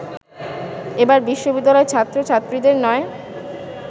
এবার বিশ্ববিদ্যালয়ের ছাত্রছাত্রীদের নয়